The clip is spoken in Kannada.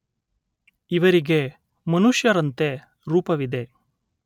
ಇವರಿಗೆ ಮನುಷ್ಯರಂತೆ ರೂಪವಿದೆ.